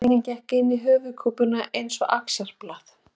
Steinninn gekk inn í höfuðkúpuna eins og axarblað.